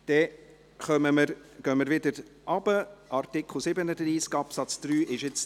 Wir kommen zurück, Artikel 37 Absatz 3 ist durch.